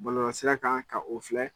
Bɔlɔlɔsira kan ka o filɛ.